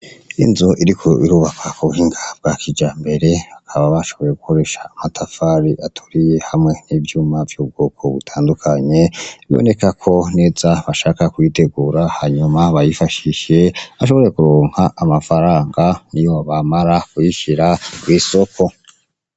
Inzu iriko irubakwa k'ubuhinga bwa kijambere, baba bashoboye gukoresha amatafari aturiye hamwe n'ivyuma vy'ubwoko bitandukanye, biboneka ko neza bashaka kuyitegura hanyuma bayifashishe, bashobore kuronka amafaranga niyo bamara kuyishira kw'isoko.